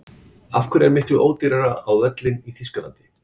Af hverju er miklu ódýrara á völlinn í Þýskalandi?